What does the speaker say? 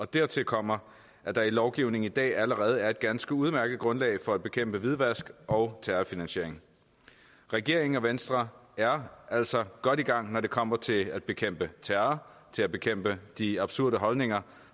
dertil kommer at der i lovgivningen i dag allerede er et ganske udmærket grundlag for at bekæmpe hvidvask og terrorfinansiering regeringen og venstre er altså godt i gang når det kommer til at bekæmpe terror til at bekæmpe de absurde holdninger